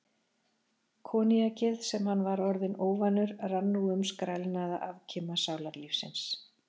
Koníakið, sem hann var orðinn óvanur, rann nú um skrælnaða afkima sálarlífsins.